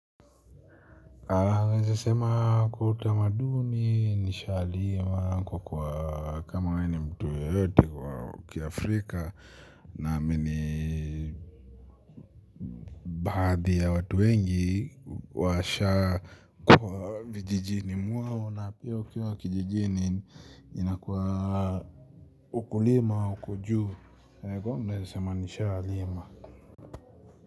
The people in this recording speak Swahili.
Naeza sema kwa utamaduni nishalima kwa kwa kama nani mtu ya yote kwa kia Afrika naamini. Adhi ya watu wengi washa vijijini mwao na pia ukiwa kijijini inakuwa ukulima uko juu. Naeza sema nishalima.